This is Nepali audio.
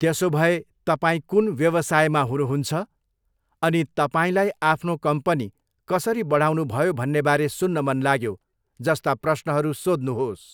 त्यसोभए तपाईँ कुन व्यवसायमा हुनुहुन्छ?' अनि 'तपाईँलाई आफ्नो कम्पनी कसरी बढाउनुभयो भन्नेबारे सुन्न मन लाग्यो!' जस्ता प्रश्नहरू सोध्नुहोस्।